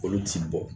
Olu t'i bɔ